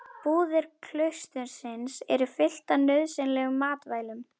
Búðir klaustursins eru fylltar nauðsynlegum matvælum.